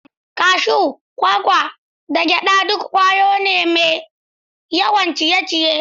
Grounds, cashews, kwakwa, da gyada duk ƙwaya ce mai yawan ciye-ciye.